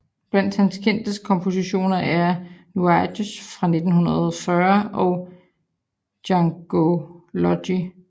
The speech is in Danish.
Blandt hans kendteste kompositioner er Nuages fra 1940 og Djangology